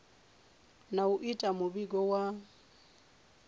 na u ita muvhigo wa